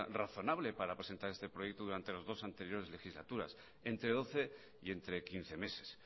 razonable para presentar este proyecto durante las dos anteriores legislaturas entre doce y entre quince meses